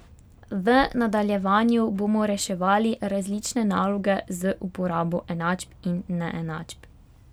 V nadaljevanju bomo reševali različne naloge z uporabo enačb in neenačb.